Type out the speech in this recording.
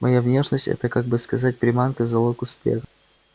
моя внешность это как бы сказать приманка залог успеха